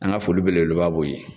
An ka foli belebeleba b'o ye.